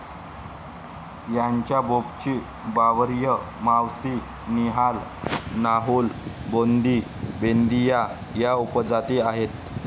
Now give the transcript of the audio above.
यांच्या बोपची, बावरिया, मावसी, निहाल, नाहुल, बोंधी, बेंदीया या उपजाती आहेत.